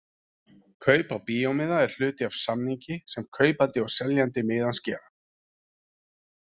Kaup á bíómiða er hluti af samningi sem kaupandi og seljandi miðans gera.